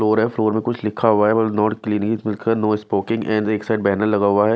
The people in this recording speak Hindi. फ्लोर है फ्लोर में कुछ लिखा हुआ है नो नो स्पोकिंग एंड एक साइड बैनर लगा हुआ है।